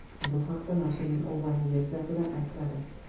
Bu haqda nashrning onlayn-versiyasida aytiladi .